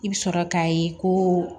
I bɛ sɔrɔ k'a ye ko